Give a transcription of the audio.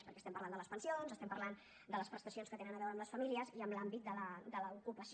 perquè estem parlant de les pensions estem parlant de les prestacions que tenen a veure amb les famílies i amb l’àmbit de l’ocupació